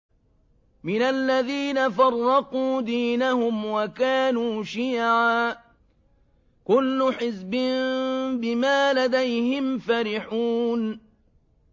مِنَ الَّذِينَ فَرَّقُوا دِينَهُمْ وَكَانُوا شِيَعًا ۖ كُلُّ حِزْبٍ بِمَا لَدَيْهِمْ فَرِحُونَ